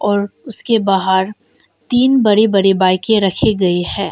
और उसके बाहर तीन बड़े बड़े बाइके रखे गए हैं।